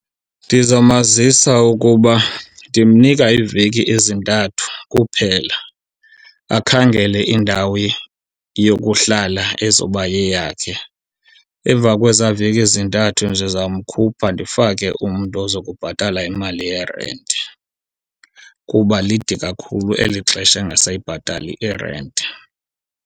Ndizamazisa ukuba ndimnika iiveki ezintathu kuphela akhangele indawo yokuhlala ezoba yeyakhe. Emva kwezaa veki zintathu ndizamkhupha ndifake umntu oza kubhatala imali yerenti kuba lide kakhulu eli xesha engasayibhatali irenti.